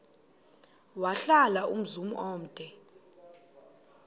wahlala umzum omde